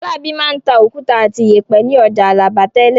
Fọlábí máa ń ta òkúta àti ìyẹ̀pẹ̀ ní ọjà Alábà tẹ́lẹ̀.